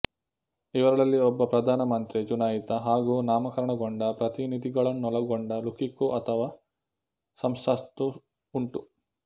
ಇವರಲ್ಲಿ ಒಬ್ಬ ಪ್ರಧಾನ ಮಂತ್ರಿ ಚುನಾಯಿತ ಹಾಗೂ ನಾಮಕರಣಗೊಂಡ ಪ್ರತಿನಿಧಿಗಳನ್ನೊಳಗೊಂಡ ಲುಕಿಕೋ ಅಥವಾ ಸಂಸತ್ತು ಉಂಟು